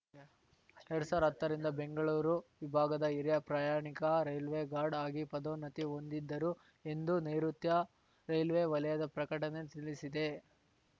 ಎರಡ್ ಸಾವ್ರ್ದಾ ಹತ್ತರಿಂದ ಬೆಂಗಳೂರು ವಿಭಾಗದ ಹಿರಿಯ ಪ್ರಯಾಣಿಕ ರೈಲ್ವೆ ಗಾರ್ಡ್‌ ಆಗಿ ಪದೋನ್ನತಿ ಹೊಂದಿದ್ದರುಎಂದು ನೈಋತ್ಯ ರೈಲ್ವೆ ವಲಯದ ಪ್ರಕಟಣೆ ತಿಳಿಸಿದೆ